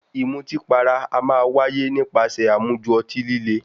Ìmutípara a máa wáyé nípasẹ̀ àmujù ọtí líle.